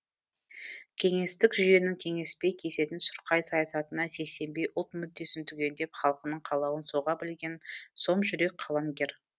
кеңестік жүйенің кеңеспей кесетін сұрқай саясатынан сескенбей ұлт мүддесін түгендеп халқының қалауын соға білген сомжүрек қаламгер